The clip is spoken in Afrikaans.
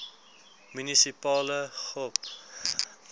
munisipale gop